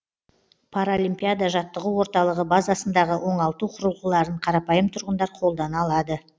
паралимпиада жаттығу орталығы базасындағы оңалту құрылғыларын қарапайым тұрғындар қолдана алады